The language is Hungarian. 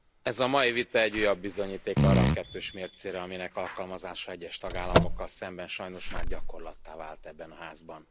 Tisztelt Elnök úr! Ez a mai vita egy újabb bizonyíték arra a kettős mércére, aminek alkalmazása egyes tagállamokkal szemben sajnos már gyakorlattá vált ebben a Házban.